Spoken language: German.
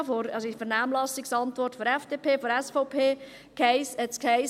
In der Vernehmlassungsantwort der FDP und SVP hiess es: